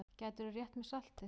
Gætirðu rétt mér saltið?